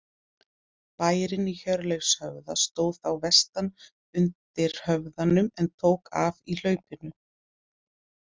Bærinn í Hjörleifshöfða stóð þá vestan undir höfðanum en tók af í hlaupinu.